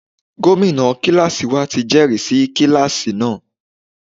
Gómìnà kíláàsì wa ti jẹ́rìsí kíláàsì náà.